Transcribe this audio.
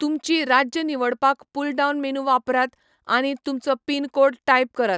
तुमची राज्य निवडपाक पुलडावन मेनू वापरात, आनी तुमचो पिन कोड टाइप करात.